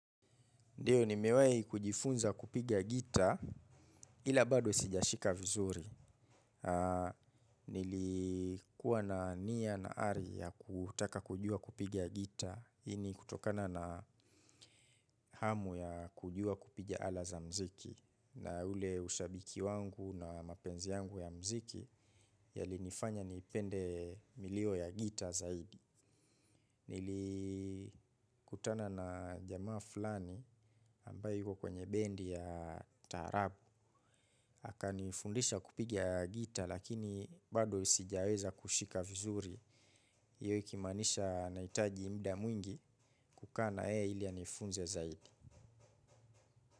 Ndiyo nimewai kujifunza kupiga gita ila bado sijashika vizuri. Nilikuwa na nia na hari ya kutaka kujua kupiga gita. Hii ni kutokana na amu ya kujua kupiga ala za muziki. Na ule ushabiki wangu na mapenzi yangu ya muziki yalinifanya nipende milio ya gita zaidi. Nilikutana na jamaa fulani ambaye yuko kwenye bendi ya taarabu akanifundisha kupiga gita. Lakini bado sijeweza kushika vizuri hiyo ikimaanisha nahitaji muda mwingi. Kukaa na yeye ili anifunze zaidi.